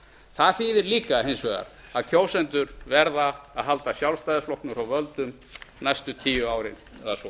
það þýðir líka hins vegar að kjósendur verða að halda sjálfstæðisflokknum frá völdum næstu tíu árin eða svo